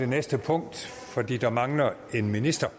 næste punkt fordi der mangler en minister